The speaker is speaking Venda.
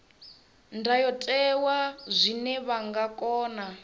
ndayotewa zwine vha nga kona